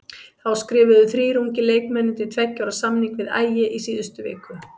Þá skrifuðu þrír ungir leikmenn undir tveggja ára samning við Ægi í síðustu viku.